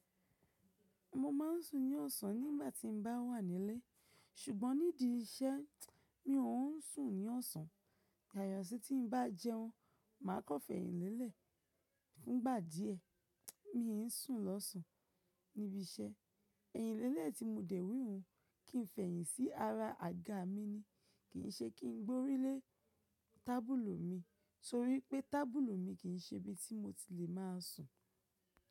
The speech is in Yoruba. Mo máa ń sùn ní ọ̀sán nígbà tí mo bá wà nílé. Sùgbọ́n nídi iṣẹ́, mi ò ń sùn ní ọ̀sán. Àyàfi tí n bá jẹ́ún, màá kọ́ fẹ̀yìnlélẹ̀ fún ìgbà díẹ̀. Mi ń sùn lọ́sàn níbi iṣẹ́. Ẹ̀yinlélẹ̀ tí mo dẹ̀ wíwun kí n fẹ̀yìntí ara àga mi ni. Kì í ṣe kí n gbórí lé tábìlù mi, torí pé tábìlù mi kì í ṣe ibi tí mo ti lè máa sùn.